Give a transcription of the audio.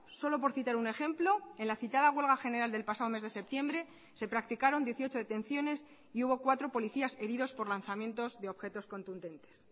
solo por citar un ejemplo en la citada huelga general del pasado mes de septiembre se practicaron dieciocho detenciones y hubo cuatro policías heridos por lanzamientos de objetos contundentes